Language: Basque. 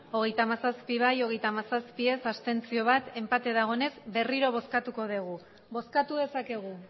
hogeita hamazazpi bai hogeita hamazazpi ez bat abstentzio enpate dagonez berriro bozkatuko dugu bozkatu dezakegu